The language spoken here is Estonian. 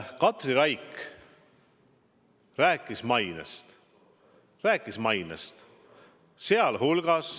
Katri Raik rääkis mainest.